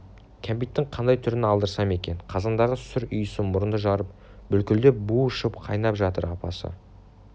кәмпиттің қандай түрін алдырсам екен қазандағы сүр иісі мұрынды жарып бүлкілдеп буы шығып қайнап жатыр апасы